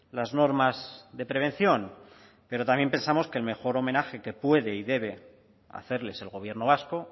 las normas de prevención pero también pensamos que el mejor homenaje que puede y debe hacerles el gobierno vasco